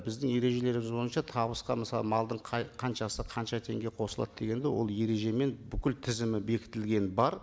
біздің ережелеріміз бойынша табыс мысалы малдың қай қаншасы қанша теңге қосылады дегенді ол ережемен бүкіл тізімі бекітілген бар